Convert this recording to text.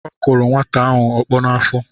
Ọ kụrụ nwata ahụ ọkpọ n’afọ